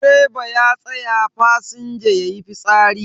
Direba ya tsaya fasinja yayi fitsari.